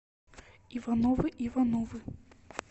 ивановы ивановы